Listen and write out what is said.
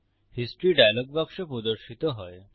history dialog বাক্স প্রদর্শিত হয়